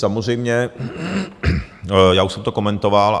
Samozřejmě já už jsem to komentoval.